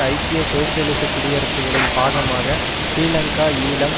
ஐக்கிய சோசியலிச குடியரசுகளின் பாகமாக ஸ்ரீலங்காஈழம்